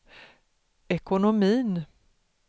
ekonomin